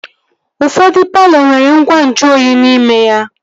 Ụfọdụ palọ nwere ngwa nju oyi n'ime ya